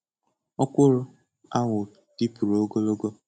Ọkwụrụ ahụ dịpụrụ ogologo.